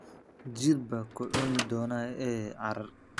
Jiir baa ku cuni doona ee carar.